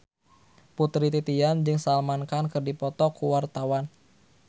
Putri Titian jeung Salman Khan keur dipoto ku wartawan